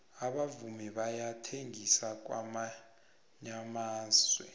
abavumi bayathengisa kwamyamana